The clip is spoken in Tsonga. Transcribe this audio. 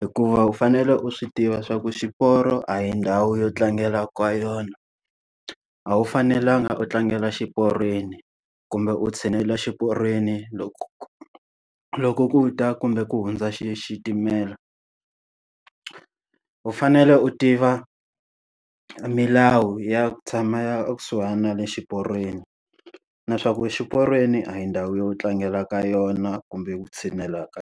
Hikuva u fanele u swi tiva swa ku xiporo a hi ndhawu yo tlangela ka yona. A wu fanelanga u tlangela xiporweni kumbe u tshinela xiporweni loko loko ku ta kumbe ku hundza xi xitimela. U fanele u tiva milawu ya ku tshama ekusuhana na le xiporweni na swa ku xiporweni a hi ndhawu yo tlangela ka yona kumbe ku tshinela ka.